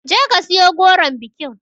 Je ka siyo goron bikin